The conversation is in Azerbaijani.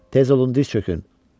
Tez olun diz çökün!